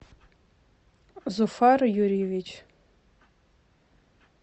зуфар юрьевич